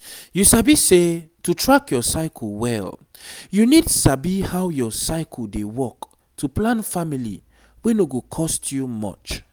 you sabi say to track your cycle well you need sabi how your cycle dey work to plan family wey no go cost you much